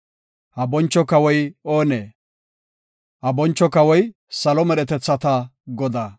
Ha boncho kawoy oonee? Ha boncho kawoy salo medhetethata Godaa! Salaha.